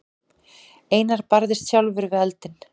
Einar barðist sjálfur við eldinn.